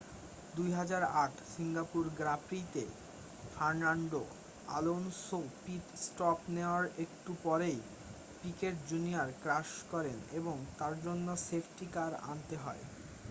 2008 Singapore grand প্রি-তে Fernando Alonso pit stop নেওয়ার একটু পরেই পিকেট জুনিয়র ক্র্যাশ করেন এবং তার জন্য সেফটি কার আনতে হয়